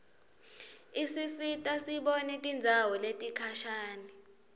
isisita sibone tindzawo letikhashane